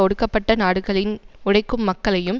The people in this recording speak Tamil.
ஒடுக்கப்பட்ட நாடுகளின் உழைக்கும் மக்களையும்